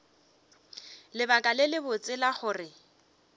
lebaka le lebotse la gore